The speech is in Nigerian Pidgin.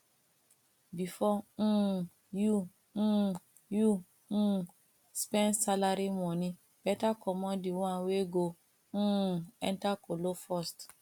bifor um yu um yu um spend salary moni beta comot di one wey go um enter kolo first